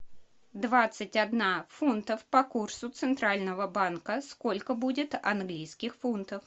двадцать одна фунтов по курсу центрального банка сколько будет английских фунтов